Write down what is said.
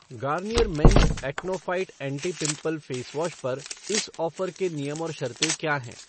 Garnier men's acne fight anti pimple face wash पर इस offer के नियम और शर्तें क्या हैं?